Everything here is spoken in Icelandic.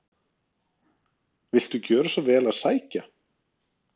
Viltu gjöra svo vel að sækja